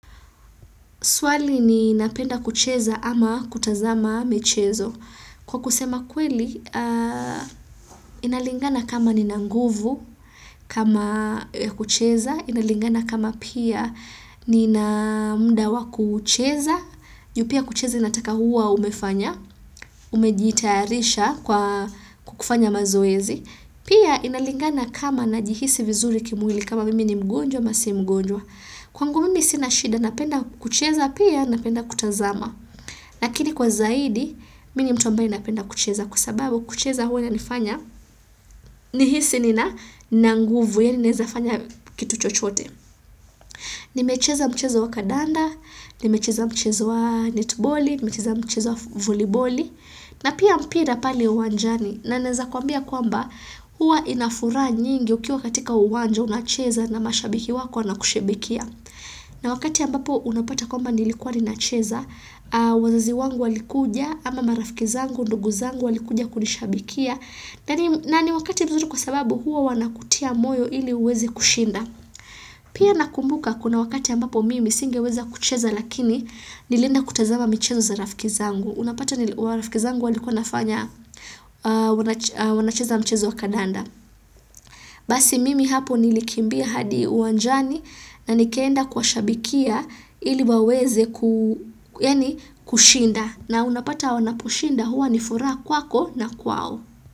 Swali ni napenda kucheza ama kutazama michezo. Kwa kusema kweli, inalingana kama nina nguvu kama ys kucheza, inalingana kama pia nina mda wa kucheza, juu pia kucheza inataka huwa umefanya, umejitayarisha kwa kukufanya mazoezi. Pia inalingana kama na jihisi vizuri kimwili kama mimi ni mgonjwa, amasi mgonjwa. Kwangu mimi sinashida napenda kucheza pia napenda kutazama lakini kwa zaidi mini mtu ambaye napenda kucheza kwa sababu kucheza huwa ina nifanya ni hisi nina nguvu yaani naezafanya kitu chochote nimecheza mchezo wa kadanda nimecheza mchezo wa netiboli nimecheza mcheza wa voliboli na pia mpira pale uwanjani na naeza kwambia kwamba huwa inafuraha nyingi ukiwa katika uwanja unacheza na mashabiki wako na kushebekia na wakati ambapo unapata kwa mba nilikuwa ninacheza, wazazi wangu walikuja ama marafiki zangu, ndugu zangu walikuja kunishabikia na ni wakati mzuri kwa sababu huwa wanakutia moyo ili uweze kushinda. Pia nakumbuka kuna wakati ambapo mimi singe weza kucheza lakini nilienda kutazama michezo za rafiki zangu. Unapata nili warafikizangu walikuwa nafanya wanacheza mchezo wa kadanda. Basi mimi hapo nilikimbia hadi uwanjani na nikaenda kuwa shabikia ili waweze yaani kushinda na unapata wanaposhinda huwa ni furaha kwako na kwao.